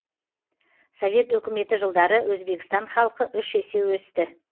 совет өкіметі жылдары өзбекстан халқы үш есе өсті